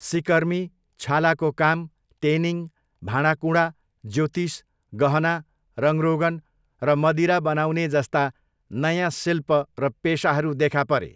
सिकर्मी, छालाको काम, टेनिङ, भाँडाकुँडा, ज्योतिष, गहना, रङरोगन र मदिरा बनाउने जस्ता नयाँ शिल्प र पेसाहरू देखा परे।